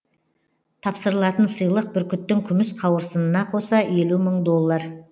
тапсырылатын сыйлық бүркіттің күміс қауырсынына қоса елу мың доллар